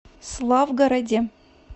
славгороде